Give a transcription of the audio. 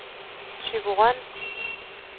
Thyborøn